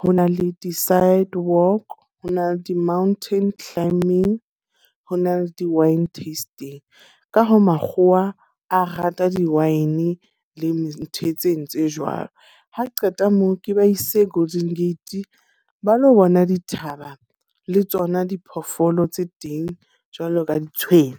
ho na le di-sidewalk, ho na le di-mountain climbing, ho na le di-wine testing. Ka hoo makgowa a rata di-wine le ntho tse entswe jwalo. Ha qeta moo ke ba ise Golden Gate, ba lo bona dithaba, le tsona diphoofolo tse teng jwalo ka ditshwene.